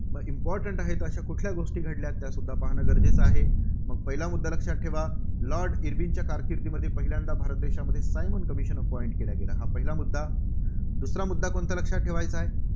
important आहे तर अशा कुठल्या गोष्टी घडल्या? त्यासुद्धा पाहणं गरजेचं आहे. मग पहिला मुद्दा लक्षात ठेवा, लॉर्ड इर्विनच्या कारकिर्दीमध्ये पहिल्यांदा भारत देशामध्ये सायमन commission appointment केला गेला. हा पहिला मुद्दा. दुसरा मुद्दा कोणता लक्षात ठेवायचा आहे?